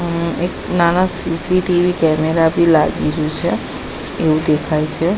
એક નાના C C T V camera બી લાગી રયુ છે એવુ દેખાય છે.